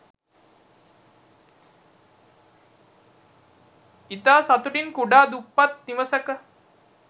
ඉතා සතුටින් කුඩා දුප්පත් නිවසක